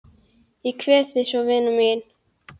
Ég kveð þig svo vina mín.